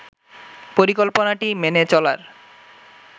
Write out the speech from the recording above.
পরিকল্পনাটি মেনে চলার